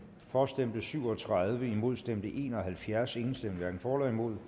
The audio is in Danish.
for stemte syv og tredive imod stemte en og halvfjerds hverken for eller imod